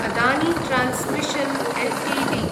Adani transmission Ltd